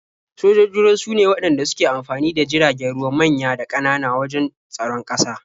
Sojojin ruwa sune waɗanda suke amfani da jiragen ruwa manya da ƙanana wajen tsaron ƙasa.